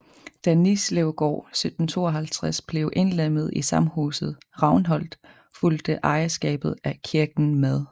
Da Nislevgård 1752 blev indlemmet i samhuset Ravnholt fulgte ejerskabet af kirken med